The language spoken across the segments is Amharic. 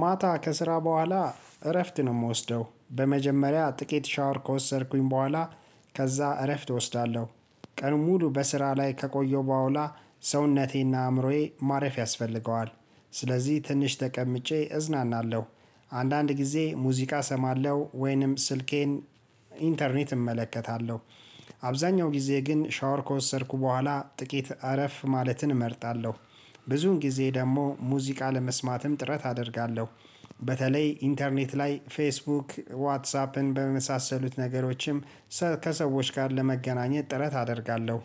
ማታ ከስራ በኋላ እረፍት ነው የምወስደው በመጀመሪያ ጥቂት ሻወር ከወሰድኩኝ በኋላ ከዛ እረፍት እወስዳለሁ። ቀን ሙሉ በስራ ላይ ከቆየው በዋላ ሰውነቴ እና አእምሮዬ ማረፍ ያስፈልገዋል። ስለዚህ ትንሽ ተቀምጬ እዝናናለሁ። አንዳንድ ጊዜ ሙዚቃ እሰማለሁ ወይንም ስልኬን ኢንተርኔት እመለከታለሁ። አብዛኛው ጊዜ ግን ሻወር ከወሰድኩ በኋላ ጥቂት አረፍ ማለትን እመርጣለሁ። ብዙን ጊዜ ደግሞ ሙዚቃ ለመስማትም ጥረት አደርጋለሁ። በተለይ ኢንተርኔት ላይ ፌስቡክ ዋትሳፕን በመሳሰሉት ነገሮችም ከሰዎች ጋር ለመገናኘት ጥረት አደርጋለሁ።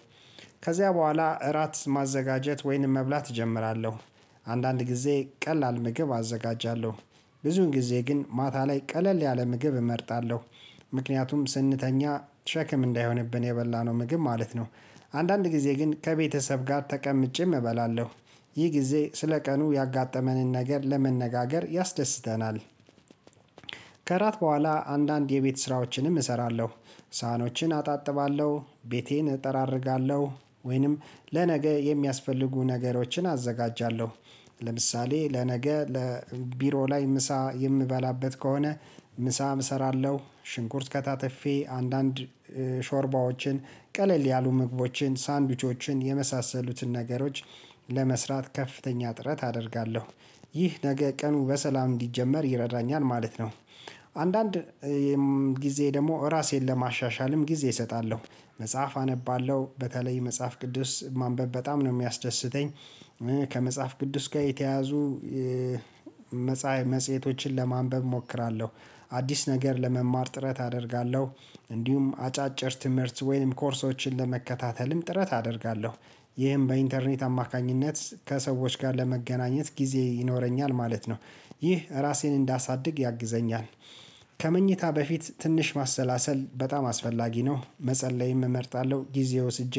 ከዚያ በኋላ እራት ማዘጋጀት ወይንም መብላት እጀምራለሁ። አንዳንድ ጊዜ ቀላል ምግብ አዘጋጃለሁ። ብዙን ጊዜ ግን ማታ ላይ ቀለል ያለ ምግብ እመርጣለሁ። ምክንያቱም ስንተኛ ሸክም እንዳይሆንብን የበላነው ምግብ ማለት ነው። አንዳንድ ጊዜ ግን ከቤተሰብ ጋር ተቀምጬም እበላለሁ። ይህ ጊዜ ስለቀኑ ያጋጠመንን ነገር ለመነጋገር ያስደስተናል። ከራት በኋላ አንዳንድ የቤት ስራዎችንም እሰራለሁ። ሳህኖችን አጣጥባለሁ ቤቴን እጠራርጋለሁ ወይንም ለነገ የሚያስፈልጉ ነገሮችን አዘጋጃለሁ። ለምሳሌ ለነገ ለቢሮ ላይ ምሳ የምበላበት ከሆነ ምሳም እሰራለሁ ሽንኩርት ከታትፌ አንዳንድ ሾርባዎችን ቀለል ያሉ ምግቦችን ሳንድዊቾችን የመሳሰሉትን ነገሮች ለመስራት ከፍተኛ ጥረት አደርጋለሁ። ይህ ነገ ቀኑ በሰላም እንዲጀመር ይረዳኛል ማለት ነው። አንዳንድ ጊዜ ደግሞ ራሴን ለማሻሻልም ጊዜ እሰጣለሁ። መጽሐፍ አነባለሁ በተለይ መጽሐፍ ቅዱስ ማንበብ በጣም ነው የሚያስደስተኝ። ከመጽሐፍ ቅዱስ ጋር የተያያዙ መጽሐ መጽሄቶችን ለማንበብ እሞክራለሁ። አዲስ ነገር ለመማር ጥረት አደርጋለሁ። እንዲሁም አጫጭር ትምህርት ወይም ኮርሶችን ለመከታተልም ጥረት አደርጋለሁ። ይህም በኢንተርኔት አማካኝነት ከሰዎች ጋር ለመገናኘት ጊዜ ይኖረኛል ማለት ነው። ይህ ራሴን እንዳሳድግ ያግዘኛል። ከመኝታ በፊት ትንሽ ማሰላሰል በጣም አስፈላጊ ነው። መጸለይም እመርጣለሁ ጊዜ ወስጄ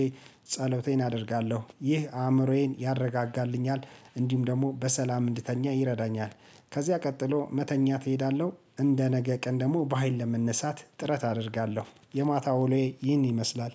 ጸሎቴን አደርጋለሁ ይህ አእምሮዬን ያረጋጋልኛል እንዲሁም ደግሞ በሰላም እንድተኛ ይረዳኛል። ከዚያ ቀጥሎ መተኛት እሄዳለሁ እንደነገ ቀን ደግሞ በሃይል ለመነሳት ጥረት አደርጋለሁ። የማታ ወሎዬ ይህን ይመስላል